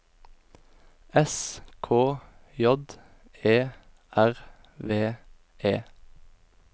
S K J E R V E